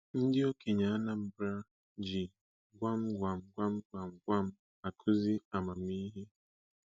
Ndị okenye Anambra ji gwam gwamgwam gwamgwam akụzi amamihe.